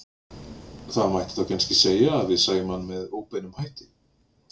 Það mætti þá kannski segja að við sæjum hann með óbeinum hætti.